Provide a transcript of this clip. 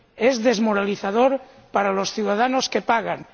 es desmoralizador para los ciudadanos que pagan